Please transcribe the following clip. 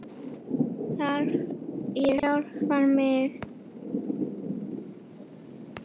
Þar fann ég sjálfan mig.